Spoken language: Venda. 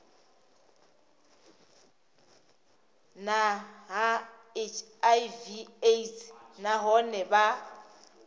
na hiv aids nahone vha